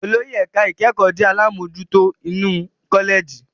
Olórí ẹ̀ka ìkẹ́kọ̀ọ́ jẹ́ àlámojutó inú kọ́lẹ̀jì.